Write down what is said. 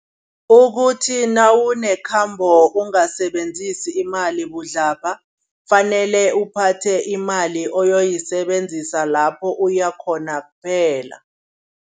Ukuthi nawunekhambo, ungasebenzisi imali budlabha. Kufanele uphathe imali oyoyisebenzisa lapho uyakhona kuphela.